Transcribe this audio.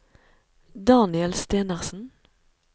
Daniel Stenersen